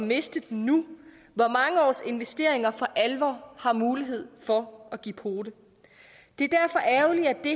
miste den nu hvor mange års investeringer for alvor har mulighed for at give pote det er derfor ærgerligt at det